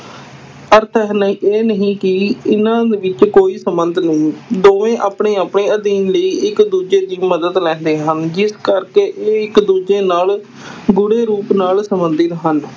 ਅਰਥ ਇਹ ਨਹੀਂ ਕਿ ਇਹਨਾਂ ਵਿੱਚ ਕੋਈ ਸੰਬੰਧ ਨਹੀਂ, ਦੋਵੇਂ ਆਪਣੇ ਆਪਣੇ ਅਧਿਐਨ ਲਈ ਇੱਕ ਦੂਜੇ ਦੀ ਮਦਦ ਲੈਂਦੇ ਹਨ, ਜਿਸ ਕਰਕੇ ਇਹ ਇੱਕ ਦੂਜੇ ਨਾਲ ਗੂੜੇ ਰੂਪ ਨਾਲ ਸੰਬੰਧਿਤ ਹਨ।